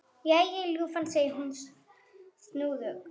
Jæja, ljúfan, segir hún snúðug.